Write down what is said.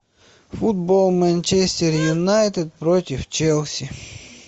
футбол манчестер юнайтед против челси